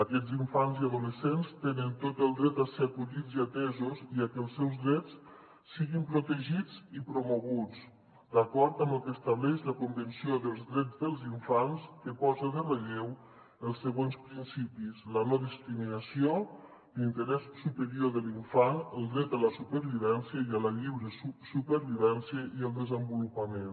aquests infants i adolescents tenen tot el dret a ser acollits i atesos i a que els seus drets siguin protegits i promoguts d’acord amb el que estableix la convenció dels drets dels infants que posa en relleu els següents principis la no·discrimina·ció l’interès superior de l’infant el dret a la supervivència i a la lliure supervivència i el desenvolupament